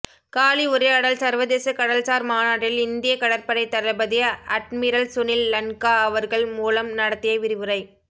காலி உரையாடல் சர்வதேச கடல்சார் மாநாட்டில் இந்திய கடற்படை தளபதி அட்மிரல் சுனில் லன்கா அவர்கள் மூலம் நடத்திய விரிவுரை